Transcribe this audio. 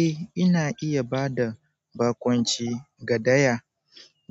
Eh ina iya ba da bakunci ga daya